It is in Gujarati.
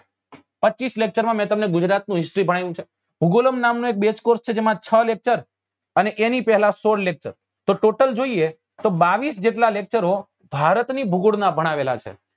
પચીસ lecture માં મેં તમને ગુજરાત નું history ભણાવ્યું છે ભુગોલમ નામ નો એક base course છે જેમાં છ lecuter અને એની પેલા સોળ lecture તો total જોઈએ તો બાવીસ જેટલા lecture ઓ ભારત ની ભૂગોળ નાં ભણાવેલા છે